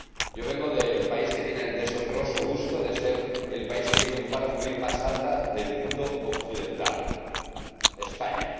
Yo vengo del país que tiene el deshonroso gusto de ser el país con la tasa de paro juvenil más alta del mundo occidental España.